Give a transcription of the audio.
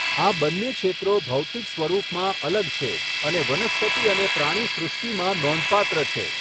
આ બંને ક્ષેત્રો ભૌતિક સ્વરૂપમાં અલગ છે અને વનસ્પતિ અને પ્રાણીસૃષ્ટિમાં નોંધપાત્ર છે.